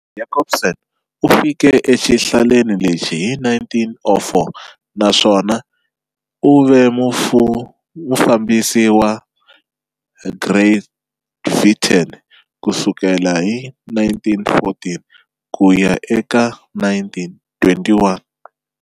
Jacobsen u fike exihlaleni lexi hi 1904 naswona u ve mufambisi wa Grytviken ku sukela hi 1914 ku ya eka 1921.